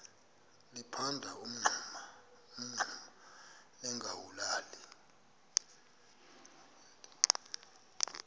liphanda umngxuma lingawulali